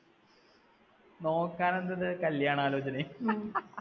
നോക്കാൻ എന്ത് ഇത്, കല്യാണ ആലോചനെ.